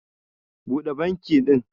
Buda banki din